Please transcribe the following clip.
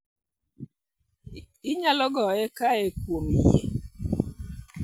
Inyal goye kae kuom yie